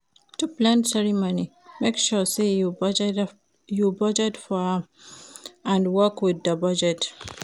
To plan ceremony make sure say you budget for am and work with di budget